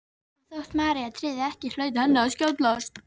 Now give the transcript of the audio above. Og þótt María tryði ekki hlaut henni að skjátlast.